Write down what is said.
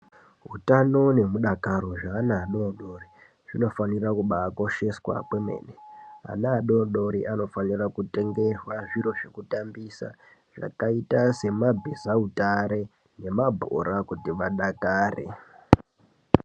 Hutano nehudakaro zveana adodori zvinofara kubakosheswa .Ana adodori anofanirwa kutengerwa zviro zvekutambisa zvakaita semabhiza utare nemabhora kuti adakare .